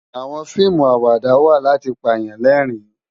Àwòn fiimú àwádá wá làti pá yán lèrin